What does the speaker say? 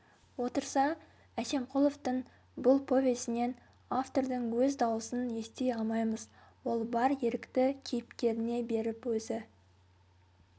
отырса әсемқұловтың бұл повесінен автордың өз дауысын ести алмаймыз ол бар ерікті кейіпкеріне беріп өзі